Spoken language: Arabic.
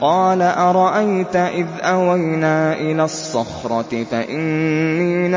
قَالَ أَرَأَيْتَ إِذْ أَوَيْنَا إِلَى الصَّخْرَةِ فَإِنِّي